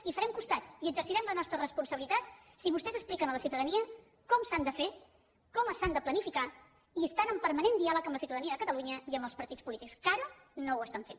i els farem costat i exercirem la nostra responsabilitat si vostès expliquen a la ciutadania com s’han de fer com s’han de planificar i estan en permanent diàleg amb la ciutadania de catalunya i amb els partits polítics que ara no ho estan fent